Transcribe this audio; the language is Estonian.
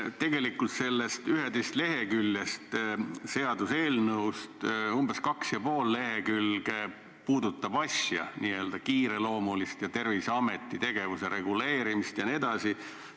Tegelikult sellest 11-leheküljelisest seaduseelnõust umbes kaks ja pool lehekülge puudutavad n-ö kiireloomulist asja, Terviseameti tegevuse reguleerimist jne.